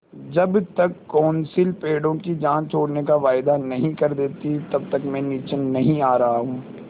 जब तक कौंसिल पेड़ों की जान छोड़ने का वायदा नहीं कर देती तब तक मैं नीचे नहीं आ रहा हूँ